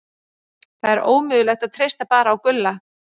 Það er ómögulegt að treysta bara á Gulla.